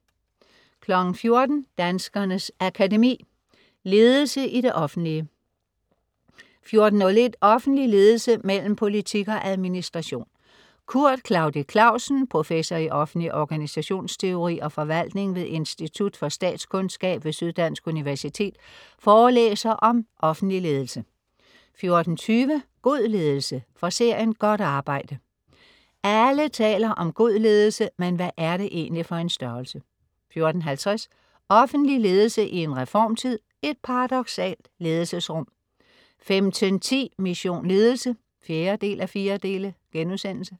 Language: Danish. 14.00 Danskernes Akademi. Ledelse i det offentlige 14.01 Offentlig ledelse mellem politik og administration. Kurt Klaudi Klausen, professor i offentlig organisationsteori og forvaltning ved Institut for Statskundskab ved Syddansk Universitet, forelæser om offentlig ledelse 14.20 God ledelse. Fra serien "Godt arbejde". Alle taler om god ledelse, men hvad er det egentlig for en størrelse? 14.50 Offentlig ledelse i en reformtid, et paradoksalt ledelsesrum 15.10 Mission Ledelse 4:4*